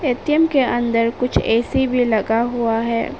ATM के अंदर कुछ ऐ_सी भी लगा हुआ है।